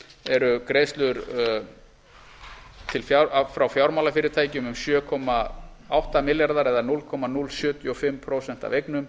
eru greiðslur frá fjármálafyrirtækjum um sjö komma átta milljarðar eða núll komma núll sjötíu og fimm prósent af eignum